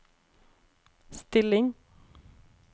still inn